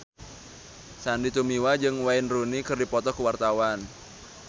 Sandy Tumiwa jeung Wayne Rooney keur dipoto ku wartawan